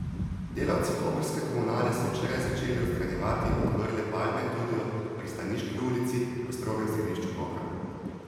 Delavci koprske komunale so včeraj začeli odstranjevati odmrle palme tudi ob Pristaniški ulici v strogem središču Kopra.